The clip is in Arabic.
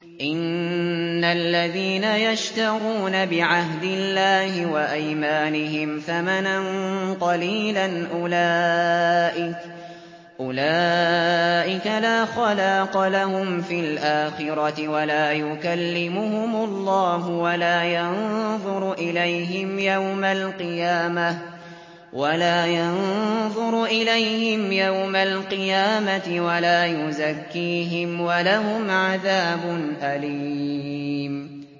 إِنَّ الَّذِينَ يَشْتَرُونَ بِعَهْدِ اللَّهِ وَأَيْمَانِهِمْ ثَمَنًا قَلِيلًا أُولَٰئِكَ لَا خَلَاقَ لَهُمْ فِي الْآخِرَةِ وَلَا يُكَلِّمُهُمُ اللَّهُ وَلَا يَنظُرُ إِلَيْهِمْ يَوْمَ الْقِيَامَةِ وَلَا يُزَكِّيهِمْ وَلَهُمْ عَذَابٌ أَلِيمٌ